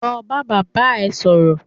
Lọ bá bàbá rẹ sọ̀rọ̀!